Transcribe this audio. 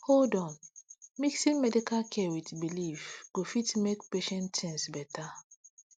hold on mixin medical care wit belief go fit make patient tinz beta